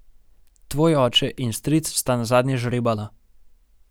Tvoj oče in stric sta nazadnje žrebala.